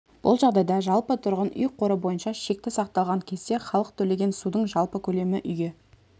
бұл жағдайда жалпы тұрғын үй қоры бойынша шекті сақталған кезде халық төлеген судың жалпы көлемі үйге